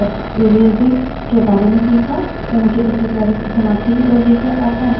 तो इस tutorial में आपने एन्वाइरन्मन्ट variables history और एलाइजिंग के बारे में सीखा